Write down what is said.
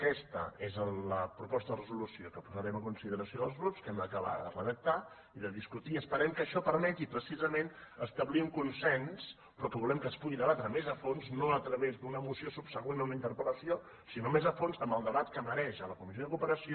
aquesta és la proposta de resolució que posarem a consideració dels grups que hem d’acabar de redactar i de discutir i esperem que això permeti precisament establir un consens però que volem que es pugui debatre més a fons no a través d’una moció subsegüent a una interpel·lació sinó més a fons amb el debat que mereix a la co missió de cooperació